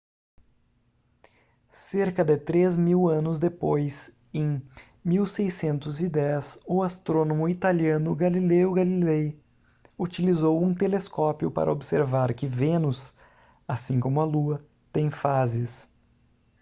cerca de três mil anos depois em 1610 o astrônomo italiano galileo galilei utilizou um telescópio para observar que vênus assim como a lua tem fases